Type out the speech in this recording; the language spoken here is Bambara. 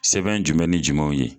Sɛbɛn jumɛn ni jama ye?